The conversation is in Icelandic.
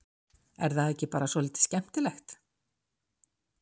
Er það ekki bara svolítið skemmtilegt?